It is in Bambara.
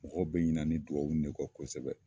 Mɔgɔw bɛ ɲinɛ ni dugawu in de kɔ kosɛbɛ.